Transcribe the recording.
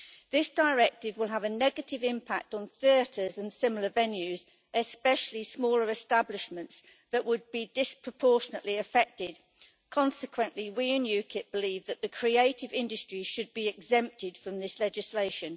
This directive will have a negative impact on theatres and similar venues, especially smaller establishments that would be disproportionately affected. Consequently, we in UKIP believe that the creative industries should be exempted from this legislation.